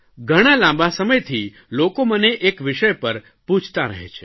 ઘણા લાંબા વખતથી લોકો મને એક વિષય પર પૂછતાં રહે છે